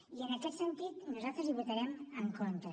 i en aquest sentit nosaltres hi votarem en contra